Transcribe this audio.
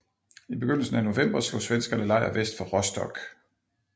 I begyndelsen af november slog svenskerne lejr vest for Rostock